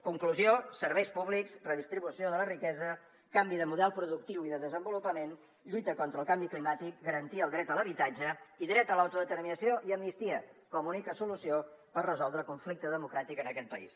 conclusió serveis públics redistribució de la riquesa canvi de model productiu i de desenvolupament lluita contra el canvi climàtic garantir el dret a l’habitatge i dret a l’autodeterminació i amnistia com a única solució per resoldre el conflicte democràtic en aquest país